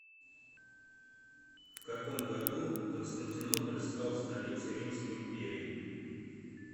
в каком году константинополь стал столицей римской империи